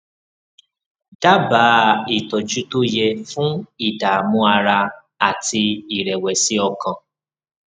dábàá ìtọjú tó yẹ fún ìdààmú ara àti ìrẹwẹsì ọkàn